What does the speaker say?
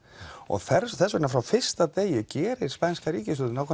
þess þess vegna frá fyrsta degi gerir spænska ríkisstjórnin